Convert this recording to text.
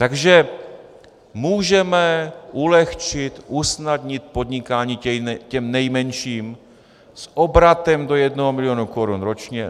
Takže můžeme ulehčit, usnadnit podnikání těm nejmenším s obratem do jednoho milionu korun ročně.